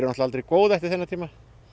aldrei góð eftir þennan tíma